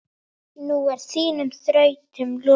Nú er þínum þrautum lokið.